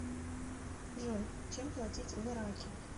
джой чем платить в ираке